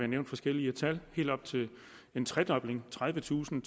nævnt forskellige tal helt op til en tredobling tredivetusind